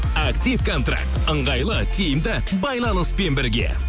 актив контракт ыңғайлы тиімді байланыспен бірге